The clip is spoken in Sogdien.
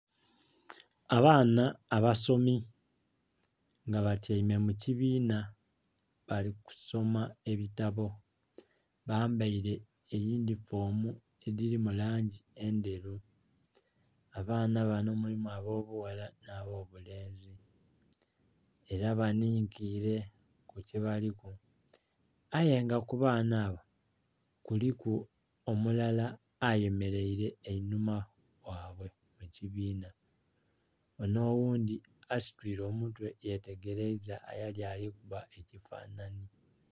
Abaana abasomi nga batyaime mu kibiinha bali ku somoma ebitabo. Bambaile eyinhifoomu edhiri mu langi endheru. Abaana bano mulimu ab'obughala nh'abobulenzi ela banhinkile ku kyebaliku ayenga ku baana abo kuliku omulala ayemeraile einhuma ghabwe mu kibiinha onho oghundhi asituile omutwe yetegeraiza eyali ali kuba ekifanhanhi.